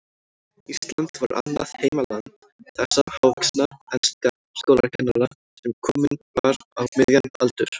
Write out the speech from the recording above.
Ísland var annað heimaland þessa hávaxna enska skólakennara, sem kominn var á miðjan aldur.